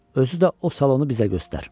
Özü də o salonu bizə göstər."